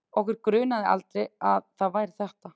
Okkur grunaði aldrei að það væri ÞETTA!